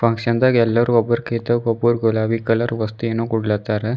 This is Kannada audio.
ಆ ಕ್ಷಣದಾಗ ಎಲ್ಲರೂ ಒಬ್ಬ್ರಿಕಿಂತೋಬ್ರು ಗುಲಾಬಿ ಕಲರ್ ವಸ್ತು ಏನೋ ಕೊಡ್ಲಾತರ.